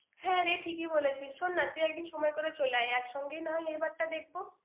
হ্যাঁ, রে ঠিকই বলেছিস। শোন না তুই একদিন সময় করে চলে আয়। একসঙ্গে নয় এবারটা দেখব!